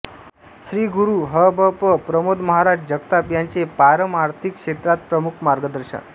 श्रीगुरू ह भ प प्रमोदमहाराज जगताप यांचे पारमार्थिक क्षेत्रात प्रमुख मार्गदर्शन